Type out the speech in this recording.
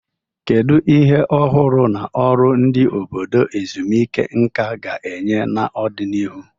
Kedu ihe ọhụrụ na ọrụ ndị obodo ezumike nka ga-enye n'ọdịnihu?